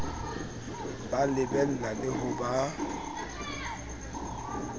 ba lebella le ho ba